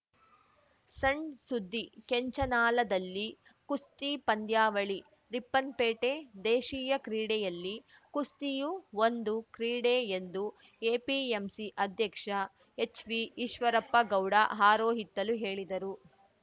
ಸಣ್‌ಸುದ್ದಿ ಕೆಂಚನಾಲದಲ್ಲಿ ಕುಸ್ತಿ ಪಂದ್ಯಾವಳಿ ರಿಪ್ಪನ್‌ಪೇಟೆ ದೇಶೀಯ ಕ್ರೀಡೆಯಲ್ಲಿ ಕುಸ್ತಿಯು ಒಂದು ಕ್ರೀಡೆ ಎಂದು ಎಪಿಎಂಸಿ ಆಧ್ಯಕ್ಷ ಎಚ್‌ವಿ ಈಶ್ವರಪ್ಪಗೌಡ ಹಾರೋಹಿತ್ತಲು ಹೇಳಿದರು